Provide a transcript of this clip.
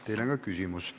Teile on ka küsimus.